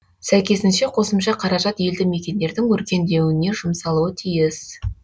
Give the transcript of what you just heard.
сәйкесінше қосымша қаражат елді мекендердің өркендеуіне жұмсалуы тиіс